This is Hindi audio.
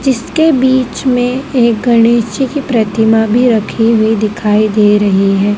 जिसके बीच में एक गणेश जी की प्रतिमा भी रखी हुई दिखाई दे रही है।